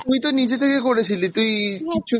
তুই তো নিজে থেকে করেছিলি তুই কিচ্ছু ।